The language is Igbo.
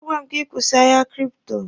A gwara m gị kwụsị ahịa kripto!